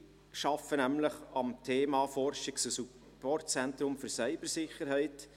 Sie arbeiten nämlich am Thema «Forschungs- und Supportzentrum für Cybersicherheit».